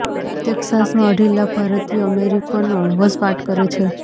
ટેક્સાસમાં અઢી લાખ ભારતીય અમેરિકનો વસવાટ કરે છે